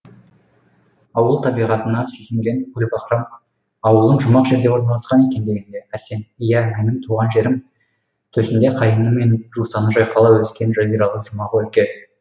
ауыл табиғатына сүйсінген гүлбаһрам ауылың жұмақ жерде орналасқан екен дегенде арсен иә менің туған жерім төсінде қайыңы мен жусаны жайқала өскен жазиралы жұмақ өлке